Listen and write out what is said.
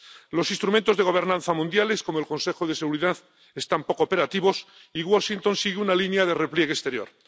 Los instrumentos de gobernanza mundiales, como el Consejo de Seguridad, están poco operativos y Washington sigue una línea de repliegue exterior.